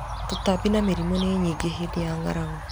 Tũtambi na mĩrimũ nĩ nyingĩ hĩndĩ ya ng'aragu.